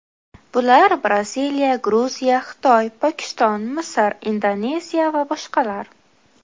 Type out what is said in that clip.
Bular Braziliya, Gruziya, Xitoy, Pokiston, Misr, Indoneziya va boshqalar.